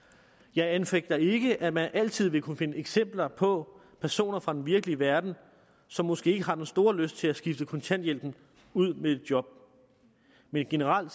jeg anfægter ikke at man altid vil kunne finde eksempler på personer fra den virkelige verden som måske ikke har den store lyst til at skifte kontanthjælpen ud med et job men generelt